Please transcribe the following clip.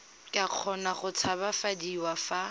ka kgona go tshabafadiwa fa